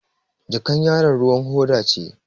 Jakar yaron ruwan hoda ce.